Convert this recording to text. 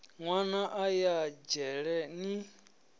nwana a ya dzhele ni